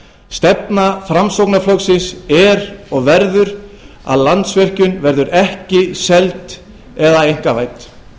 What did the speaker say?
stefna framsóknarflokksins er og verður að landsvirkjun verður ekki seld eða einkavædd nú